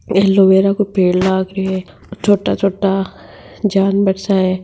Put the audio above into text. एलोवेरा काे पेड़ लाग रियो है छोटा-छोटा जानवर सा है।